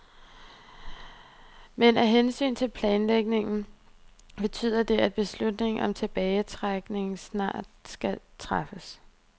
Men af hensyn til planlægningen betyder det, at beslutningen om tilbagetrækning snart skal træffes.